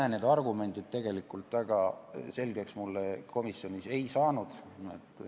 Argumendid mulle komisjonis tegelikult väga selgeks ei saanud.